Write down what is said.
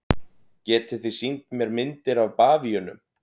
Getið þið sýnt mér myndir af bavíönum?